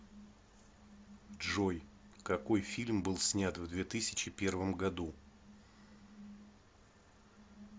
джой какой фильм был снят в две тысячи первом году